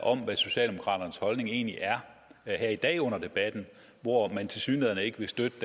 om hvad socialdemokraternes holdning egentlig er her i dag under debatten hvor man tilsyneladende ikke vil støtte